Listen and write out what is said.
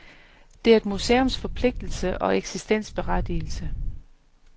Det er et museums forpligtelse og eksistensberettigelse.